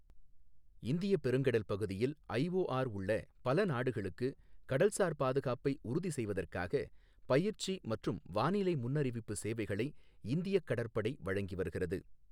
இந்தியப் பெருங்கடல் பகுதியில் ஐஓஆர் உள்ள பல நாடுகளுக்கு கடல்சார் பாதுகாப்பை உறுதி செய்வதற்காக பயிற்சி மற்றும் வானிலை முன்னறிவிப்பு சேவைகளை இந்தியக் கடற்படை வழங்கி வருகிறது.